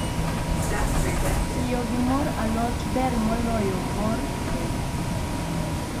Tiyo gi mor alot ber moloyo mor le